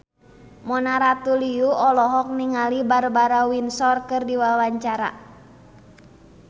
Mona Ratuliu olohok ningali Barbara Windsor keur diwawancara